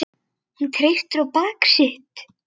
Hún treysti á bak sitt.